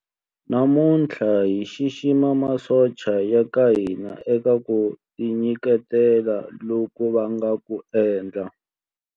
Namuntlha hi xixima masocha ya ka hina eka ku tinyiketela loku va nga ku endla.